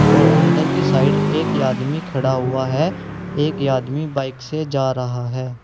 और अंदर की साइड एक आदमी खड़ा हुआ है एक आदमी बाइक से जा रहा है।